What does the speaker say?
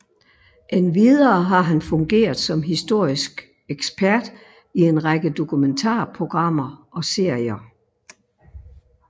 Endvidere har han fungeret som historisk ekspert i en række dokumentarprogrammer og serier